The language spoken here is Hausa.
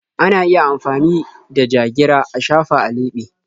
Ana iya amfani da ja-gira a shafa a leɓe.